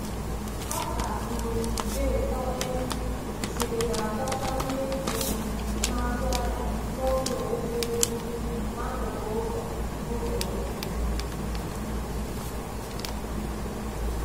Ọka um dị ụtọ e siri na-adọta ndị um na-azụ ahịa n’oge owuwe ihe ubi n’akụkụ ụzọ ụzọ ukwu.